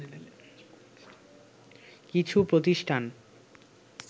কিছু প্রতিষ্ঠান